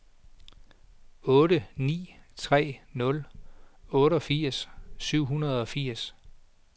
otte ni tre nul otteogfirs syv hundrede og firs